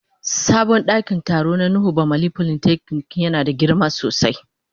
Sabon dakin taro na nuhu bamalli polytechnic yana da girma sosai.